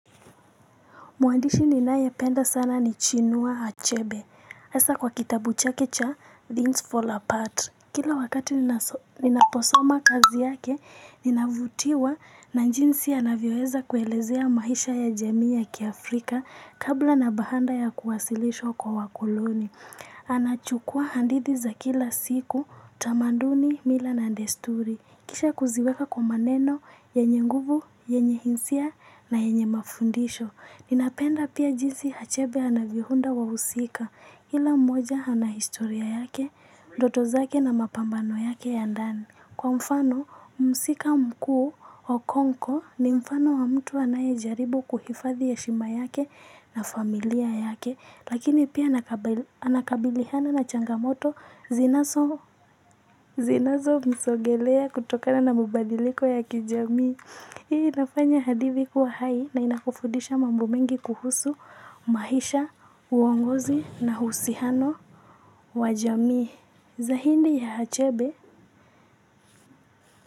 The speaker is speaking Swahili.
Mwandishi ninaye penda sana ni Chinua Achebe. Hasa kwa kitabu chake cha Things Fall Apart. Kila wakati ninaposoma kazi yake, ninavutiwa na jinsi anavyoweza kuelezea maisha ya jamii ya kiAfrika kabla na baada ya kuwasilishwa kwa wakoloni. Anachukua hadithi za kila siku, tamanduni, mila na desturi. Kisha kuziweka kwa maneno yenye nguvu yenye hisia na yenye mafundisho. Ninapenda pia jinsi Achebe anaviunda wahusika kila mmoja ana historia yake, ndoto zake na mapambano yake ya ndani. Kwa mfano, mhusika mkuu okonko ni mfano wa mtu anaye jaribu kuhifadhi heshima yake na familia yake. Lakini pia anakabiliana na changamoto zinazo msogelea kutokana na mabadiliko ya kijami. Hii inafanya hadithi kuwa hai na inakufundisha mambo mengi kuhusu maisha, uongozi na husiano wa jamii. Zaidi ya Achebe.